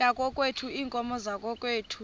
yakokwethu iinkomo zakokwethu